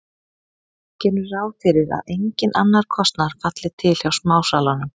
Gerum ráð fyrir að enginn annar kostnaður falli til hjá smásalanum.